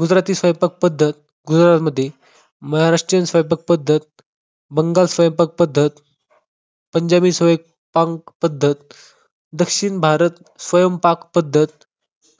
गुजराती स्वयंपाक पद्धत गुजरातमध्ये, महाराष्ट्रीयन स्वयंपाक पद्धत, बंगाल स्वयंपाक पद्धत, पंजाबी स्वयं पाक पद्धत, दक्षिण भारत स्वयंपाक पद्धत,